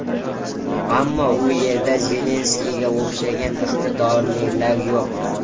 Ammo u yerda Zelenskiyga o‘xshagan iqtidorlilar yo‘q.